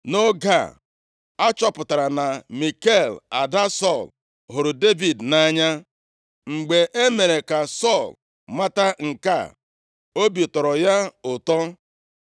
Nʼoge a, a chọpụtara na Mikal, ada Sọl hụrụ Devid nʼanya, mgbe e mere ka Sọl mata nke a, obi tọrọ ya ụtọ.